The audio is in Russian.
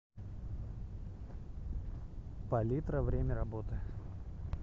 палитра время работы